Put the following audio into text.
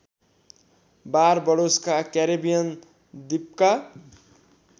बारबडोसका Caribbean द्वीपका